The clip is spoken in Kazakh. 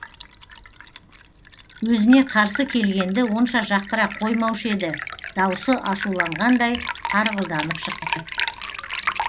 өзіне қарсы келгенді онша жақтыра қоймаушы еді даусы ашуланғандай тарғылданып шықты